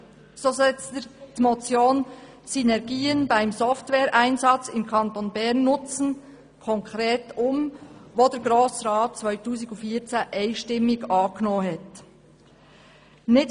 So setzt er die Motion «Synergien beim Software-Einsatz im Kanton Bern nutzen», die der Grosse Rat 2014 einstimmig angenommen hatte, konkret um.